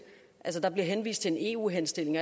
at gennemføre der bliver henvist til en eu henstilling